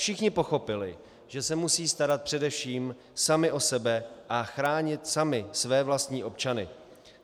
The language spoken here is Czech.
Všichni pochopili, že se musí starat především sami o sebe a chránit sami své vlastní občany.